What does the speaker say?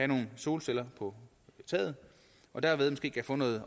nogle solceller på taget og dermed måske kan få noget